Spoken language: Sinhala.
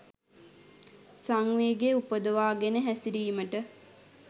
සංවේගය උපදවා ගෙන හැසිරීමට